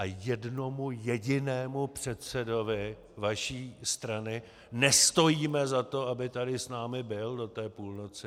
A jednomu jedinému předsedovi vaší strany nestojíme za to, aby tady s námi byl do té půlnoci.